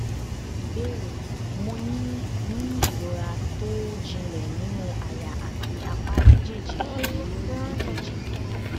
ìbéèrè mo ní ní ìrora tó jinlẹ nínú àyà àti apá méjèèjì pelu ekg